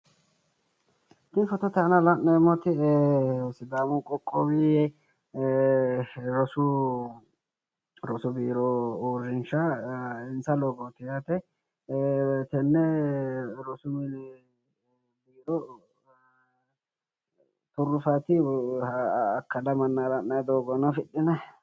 ini fotote aana la'neemmoti sidaamu qoqowi rosu biiro uurrinsha insa loogooti yaate tenne rosu mini giddo turruffaati akkala mannaara ha'nanni doogo aana afidhinanni.